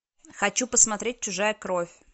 хочу посмотреть чужая кровь